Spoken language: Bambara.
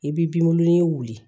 I bɛ binwele wuli